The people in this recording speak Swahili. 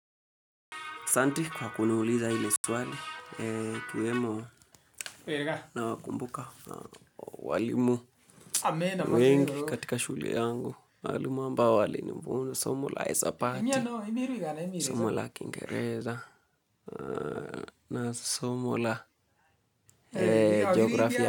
Asanti kwa kuniuliza hili swali, ikiwemo nawakumbuka walimu wengi katika shule yangu, walimu ambao walinifunza, somo la hisabati, somo la kingereza, na somo la geografia.